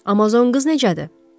Amazon qız necədir?